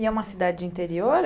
E é uma cidade interior?